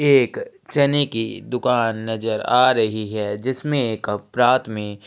एक चने की दुकान नज़र आ रही है जिसमे एक अप्रात में--